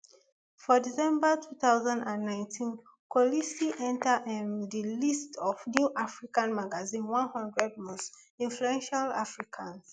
for december two thousand and nineteen kolisi enta um di list of new african magazine one hundred most influential africans